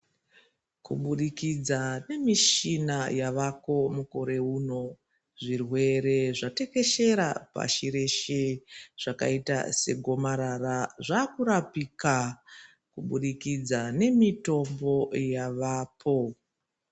Kuburikidza ngekushina yavako mukore uno Zvirwere zvatekeshera pashi reshe zvakaita segomarara zvakurapika kuburikidza ngemitombo vapo.